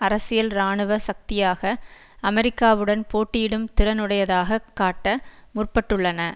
அரசியல் இராணுவ சக்தியாக அமெரிக்காவுடன் போட்டியிடும் திறனுடையாதகக் காட்ட முற்பட்டுள்ளன